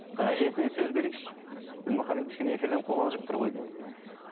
әжесіне сөз берейікші дінмұхаммед кішкене эфирден қобалжып тұр ғой деймін иә